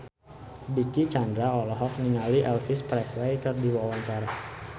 Dicky Chandra olohok ningali Elvis Presley keur diwawancara